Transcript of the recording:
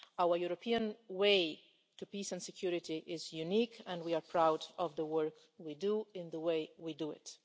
Our European way to peace and security is unique, and we are proud of the work we do and the way we do it.